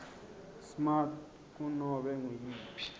smart kunobe nguyiphi